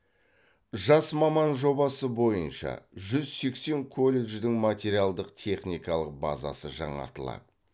жас маман жобасы бойынша жүз сексен колледждің материалдық техникалық базасы жаңартылады